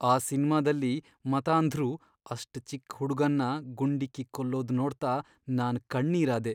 ಆ ಸಿನ್ಮಾದಲ್ಲಿ ಮತಾಂಧ್ರು ಅಷ್ಟ್ ಚಿಕ್ ಹುಡ್ಗನ್ನ ಗುಂಡಿಕ್ಕಿ ಕೊಲ್ಲೋದ್ ನೋಡ್ತಾ ನಾನ್ ಕಣ್ಣೀರಾದೆ.